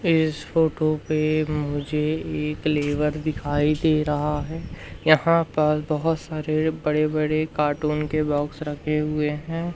इस फोटो पे मुझे एक लेबर दिखाई दे रहा है यहां पर बहोत सारे बड़े बड़े कार्टून के बॉक्स रखे हुए है।